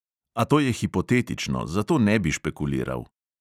A to je hipotetično, zato ne bi špekuliral.